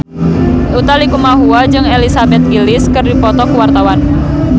Utha Likumahua jeung Elizabeth Gillies keur dipoto ku wartawan